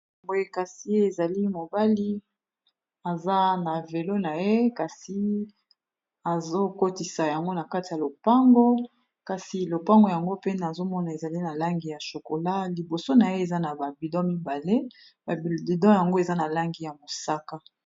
boye kasi , ezali mobali aza na velo na ye kasi azokotisa yango na kati ya lopango kasi lopango yango pene azomona ezali na langi ya chokola liboso na ye eza na babido mibale, babido yango eza na langi ya mosaka.